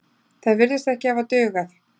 Það virðist ekki hafa dugað.